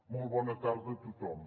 molt bona tarda a tothom